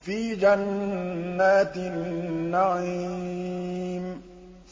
فِي جَنَّاتِ النَّعِيمِ